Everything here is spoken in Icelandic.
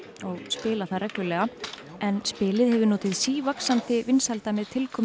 og spila það reglulega en skrafl hefur notið sívaxandi vinsælda með tilkomu